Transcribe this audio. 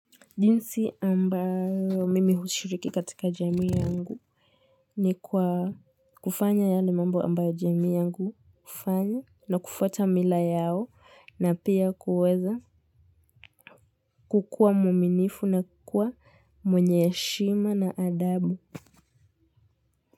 Jinsi ambayo mimi hushiriki katika jamii yangu ni kwa kufanya yale mambo ambayo jamii yangu hufanya na kufuata mila yao na pia kuweza kukuwa mwaminifu na kua mwenye heshima na adabu.